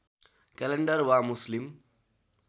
calendar वा मुस्लिम